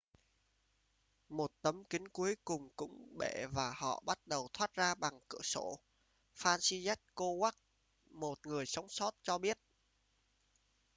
một tấm kính cuối cùng cũng bể và họ bắt đầu thoát ra bằng cửa sổ franciszek kowal một người sống sót cho biết